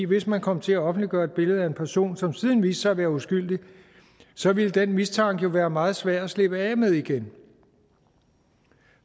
hvis man kom til at offentliggøre et billede af en person som siden viste sig at være uskyldig så ville den mistanke jo være meget svær at slippe af med igen